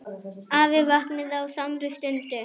Afi vaknaði á samri stundu.